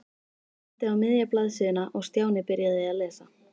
Hún benti á miðja blaðsíðuna og Stjáni byrjaði að lesa.